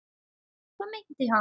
Hvað meinti hann?